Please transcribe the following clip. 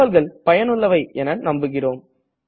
தகவல்கள் பயணுள்ளவை என நம்புகிறோம்